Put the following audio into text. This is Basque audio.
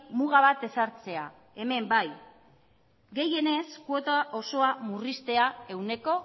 muga bat ezartzea hemen bai gehienez kuota osoa murriztea ehuneko